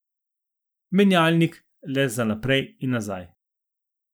Menjalnik le za naprej in nazaj.